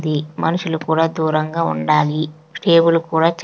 --the మనుషులు కూడా దూరంగా ఉండాలి టేబుల్ కూడా చ--